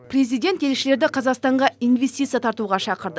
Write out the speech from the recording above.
президент елшілерді қазақстанға инвестиция тартуға шақырды